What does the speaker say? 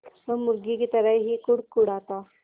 वो मुर्गी की तरह ही कुड़कुड़ाता